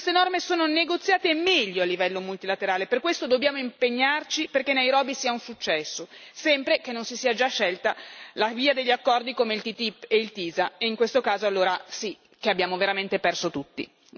Queste norme sono negoziate meglio a livello multilaterale per questo dobbiamo impegnarci perché Nairobi sia un successo, sempre che non si sia già scelta la via degli accordi come il TTIP e il TiSA e in questo caso allora sì che abbiamo veramente perso tutti.